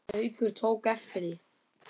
Haukur tók eftir því.